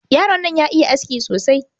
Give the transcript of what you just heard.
Yaron nan ya iya aski sosai.